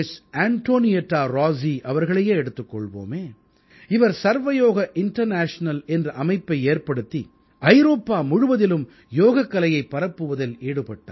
Antonietta Rossi அவர்களையே எடுத்துக் கொள்வோமே இவர் சர்வயோக இண்டர்நேஷனல் என்ற அமைப்பை ஏற்படுத்தி ஐரோப்பா முழுவதிலும் யோகக்கலையைப் பரப்புவதில் ஈடுபட்டார்